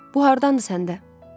Bu hardandır səndə?